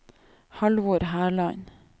Halvor Herland